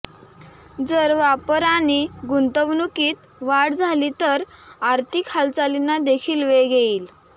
जर वापर आणि गुंतवणूकीत वाढ झाली तर आर्थिक हालचालींना देखील वेग येईल